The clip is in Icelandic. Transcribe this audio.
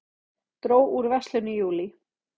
Dró úr verslun í júlí